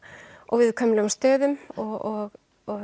viðkvæmum stöðum og